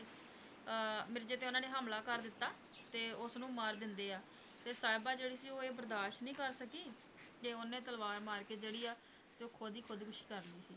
ਅਹ ਮਿਰਜ਼ੇ ਤੇ ਉਹਨਾਂ ਨੇ ਹਮਲਾ ਕਰ ਦਿੱਤਾ ਤੇ ਉਸਨੂੰ ਮਾਰ ਦਿੰਦੇ ਆ, ਤੇ ਸਾਹਿਬਾਂ ਜਿਹੜੀ ਸੀ ਉਹ ਇਹ ਬਰਦਾਸ਼ਤ ਨਹੀਂ ਕਰ ਸਕੀ ਤੇ ਉਹਨੇ ਤਲਵਾਰ ਮਾਰਕੇ ਜਿਹੜੀ ਆ, ਤੇ ਉਹ ਖੁੱਦ ਹੀ ਖੁੱਦਕੁਸ਼ੀ ਕਰ ਲਈ ਸੀ।